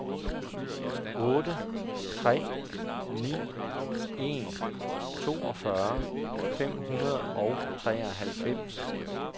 otte tre ni en toogfyrre fem hundrede og treoghalvfems